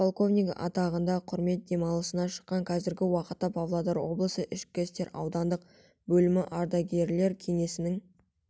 подполковнигі атағында құрмет демалысына шыққан қазіргі уақытта павлодар облысы ішкі істер аудандық бөлімі ардагерлер кеңесінің